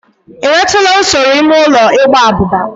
Ị nwetụla usoro ime ụlọ igba abụba?